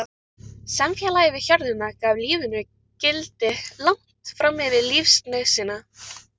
Samfélagið við hjörðina gaf lífinu gildi langt fram yfir lífsnauðsynina.